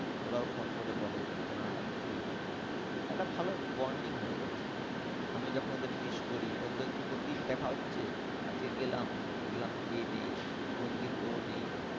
ওরাও phone করে বলে যে কেন আসলি না? একটা ভালো bonding হয়ে গেছে। আমি যখন ওদের miss করি প্রতিদিন দেখা হচ্ছে আজকে গেলাম দেখলাম এ নেই কোন দিন ও নেই।